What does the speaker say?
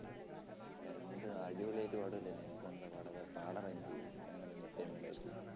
എന്ത്? അടിപൊളിയായിട്ട് പാടൂല്ലേ നീ ഇപ്പോഴെന്താ പാടാത്തെ? പാടെടാ ഭയങ്കര entertainment ആയിട്ട്